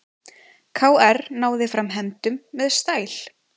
KR náði fram hefndum með stæl